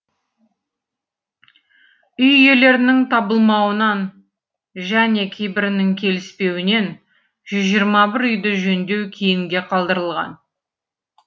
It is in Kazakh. үй иелерінің табылмауынан және кейбірінің келіспеуінен жүз жиырма бір үйді жөндеу кейінге қалдырылған